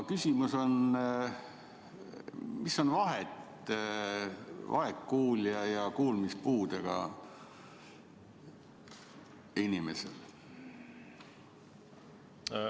Küsimus on: mis on vahet vaegkuuljal ja kuulmispuudega inimesel?